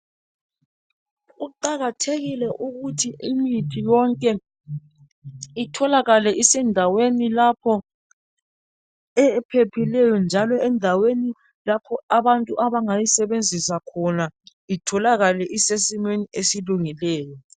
Kuqakathekile ukuthi imithi yonke itholakale isendaweni lapho ephephileýo njalo endaweni lapho abantu abangayisebenzisa khona, itholakale isesimeni esilungileyo.